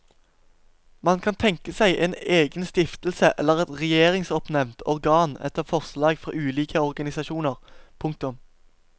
Man kan tenke seg en egen stiftelse eller et regjeringsoppnevnt organ etter forslag fra ulike organisasjoner. punktum